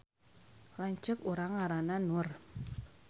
Lanceuk urang ngaranna Nur